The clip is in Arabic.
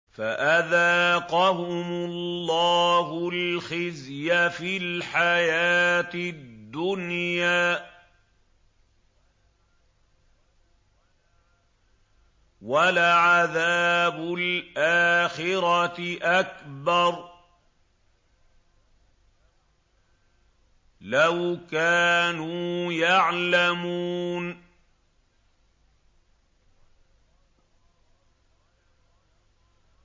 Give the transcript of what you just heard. فَأَذَاقَهُمُ اللَّهُ الْخِزْيَ فِي الْحَيَاةِ الدُّنْيَا ۖ وَلَعَذَابُ الْآخِرَةِ أَكْبَرُ ۚ لَوْ كَانُوا يَعْلَمُونَ